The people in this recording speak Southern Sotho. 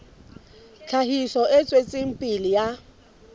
tlhahiso e tswetseng pele ya